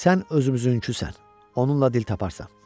Sən özümüzünküsən, onunla dil taparsan.